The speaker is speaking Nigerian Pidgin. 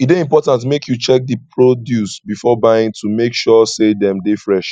e dey important make you check di produce before buying to make sure say dem dey fresh